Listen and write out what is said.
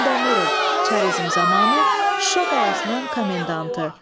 Xandəmirov, çarizm zamanı Şuşa qalasının komendantı.